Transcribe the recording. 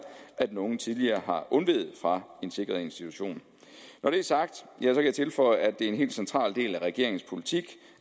at den unge tidligere har undveget fra en sikret institution når det er sagt kan jeg tilføje at det er en helt central del af regeringens politik